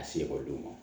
A se ekɔlidenw ma